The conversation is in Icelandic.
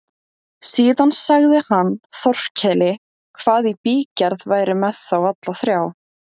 Síðan sagði hann Þórkeli hvað í bígerð væri með þá alla þrjá.